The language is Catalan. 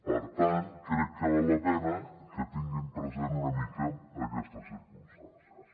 per tant crec que val la pena que tinguin present una mica aquestes circumstàncies